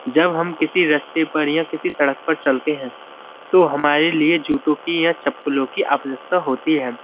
जब हम किसी रस्ते पर या किसी सड़क पर चलते हैं तो हमारे लिए जूतों की या चप्पलों की आवश्यकता होती है।